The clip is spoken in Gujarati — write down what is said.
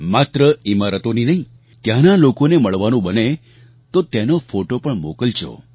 માત્ર ઈમારતોની નહીં ત્યાંના લોકોને મળવાનું બને તો તેનો ફોટો પણ મોકલજો